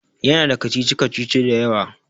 Ya na da kacici-kacici da yawa